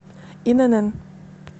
инн